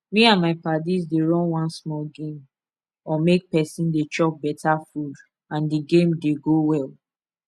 me and my padis dey run one small game on make person dey chop better food and d game dey go well